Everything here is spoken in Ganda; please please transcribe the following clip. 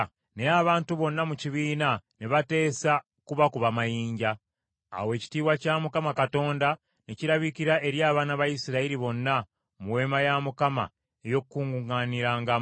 Naye abantu bonna mu kibiina ne bateesa okubakuba mayinja. Awo ekitiibwa kya Mukama Katonda ne kirabikira eri abaana ba Isirayiri bonna mu Weema ey’Okukuŋŋaanirangamu.